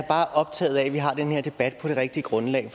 bare optaget af at vi har den her debat på det rigtige grundlag